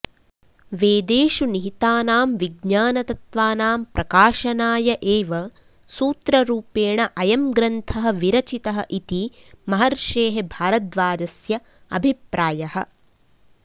वेदेषु निहितानां विज्ञानतत्त्वानां प्रकाशनाय एव सूत्ररूपेण अयं ग्रन्थः विरचितः इति महर्षेः भारद्वाजस्य अभिप्रायः